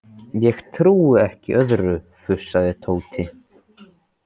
Ég trúi ekki öðru, fussaði Tóti.